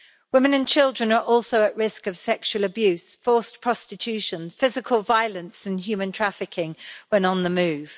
Women and children are also at risk of sexual abuse, forced prostitution, physical violence and human trafficking when on the move.